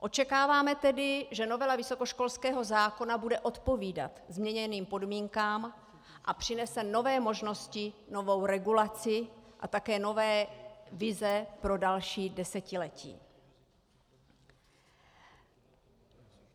Očekáváme tedy, že novela vysokoškolského zákona bude odpovídat změněným podmínkám a přinese nové možnosti, novou regulaci a také nové vize pro další desetiletí.